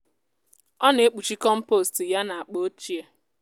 ọ na-ekpuchi kọmpost ya na akpa ochie.